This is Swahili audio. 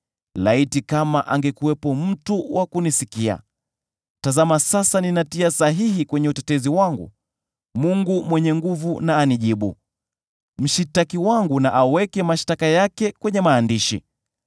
(“Laiti kama angekuwepo mtu wa kunisikia! Tazama sasa ninatia sahihi kwenye utetezi wangu: Mwenyezi na anijibu; mshtaki wangu na aweke mashtaka yake kwenye maandishi.